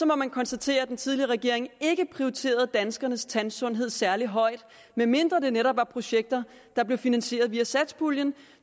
må man konstatere at den tidligere regering ikke prioriterede danskernes tandsundhed særlig højt medmindre det netop var projekter der blev finansieret via satspuljen